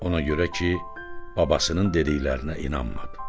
Ona görə ki, babasının dediklərinə inanmadı.